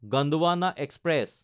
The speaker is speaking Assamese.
গণ্ডৱানা এক্সপ্ৰেছ